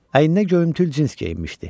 Əyninə göyümtül cins geyinmişdi.